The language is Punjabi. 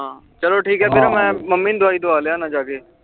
ਹਨ ਚਲੋ ਠੀਕ ਆ ਵੀਰ ਮੈਂ ਮਮ੍ਮੀ ਨੂੰ ਦਵਾਈ ਦਵਾ ਲਿਆਣਾ ਜਾ ਕੇ